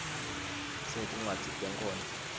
sinetincwadzi tenkhondlo